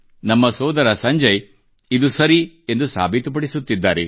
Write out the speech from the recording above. ನಮ್ಮ ಸೋದರ ಸಂಜಯ್ ಇದು ಸರಿ ಎಂದು ಸಾಬೀತುಪಡಿಸುತ್ತಿದ್ದಾರೆ